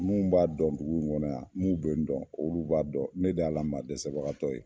Mun b'a dɔn dugu in kɔnɔ yan, n'u bɛ yen dɔn, olu b'a dɔn ne de y'a la maa dɛsɛbagatɔ ye.